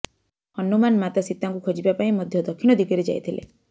ହନୁମାନ ମାତା ସୀତାଙ୍କୁ ଖୋଜିବା ପାଇଁ ମଧ୍ୟ ଦକ୍ଷିଣ ଦିଗରେ ଯାଇଥିଲେ